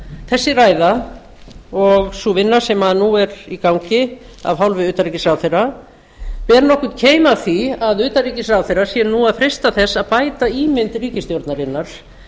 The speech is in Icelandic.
þessi ræða og sú vinna sem nú er í gangi af hálfu utanríkisráðherra ber nokkurn keim af því að utanríkisráðherra sé nú að freista þess að bæta ímynd ríkisstjórnarinnar